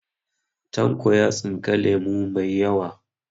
Tanko ya tsinka lemo mai yawa